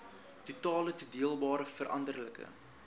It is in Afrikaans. totale toedeelbare veranderlike